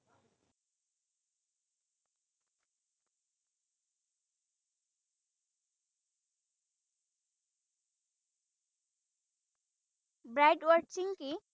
Bird watching কি?